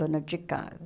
Dona de casa.